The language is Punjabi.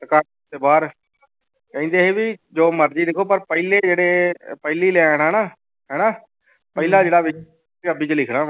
ਕਹਿੰਦੇ ਸੀ ਵੀ ਜੋ ਮਰਜ਼ੀ ਲਿਖੋ ਪਰ ਪਹਿਲੇ ਜਿਹੜੇ ਪਹਿਲੀ line ਹੈ ਨਾ ਹਨਾ ਪਹਿਲਾ ਜਿਹੜਾ ਵੀ ਪੰਜਾਬੀ ਚ ਲਿਖਣਾ ਵਾਂ।